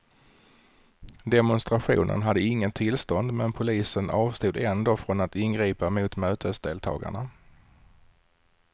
Demonstrationen hade inget tillstånd men polisen avstod ändå från att ingripa mot mötesdeltagarna.